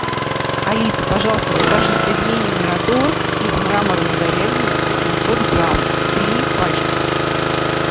алиса пожалуйста закажи пельмени мираторг из мраморной говядины восемьсот грамм три пачки